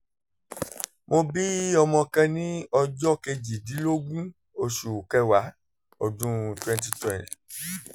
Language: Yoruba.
mo bí ọmọ kan ní ọjọ́ kejìdínlógún oṣù kẹwàá ọdún twenty twelve